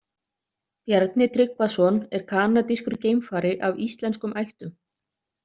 Bjarni Tryggvason er kanadískur geimfari af íslenskum ættum.